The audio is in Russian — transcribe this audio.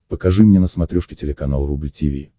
покажи мне на смотрешке телеканал рубль ти ви